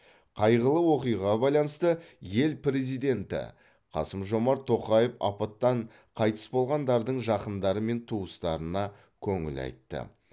қайғылы оқиғаға байланысты ел президенті қасым жомарт тоқаев апаттан қайтыс болғандардың жақындары мен туыстарына көңіл айтты